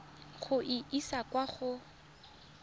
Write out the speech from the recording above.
go e isa kwa go